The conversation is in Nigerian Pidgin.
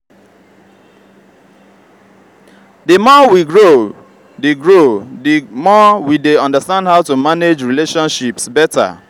the more we grow the grow the more we dey understand how to manage relationships better.